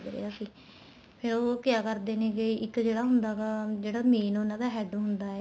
ਲੱਗ ਰਿਹਾ ਸੀ ਫ਼ੇਰ ਉਹ ਕਿਹਾ ਕਰਦੇ ਨੈਗੇ ਇੱਕ ਜਿਹੜਾ ਹੁੰਦਾ ਗਾ ਜਿਹੜਾ main ਉਹਨਾ ਦਾ head ਹੁੰਦਾ ਏ